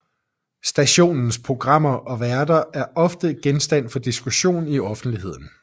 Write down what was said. Stationens programmer og værter er ofte genstand for diskussion i offentligheden